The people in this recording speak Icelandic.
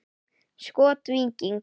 Skot: Víking.